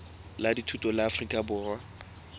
la dithuto la afrika borwa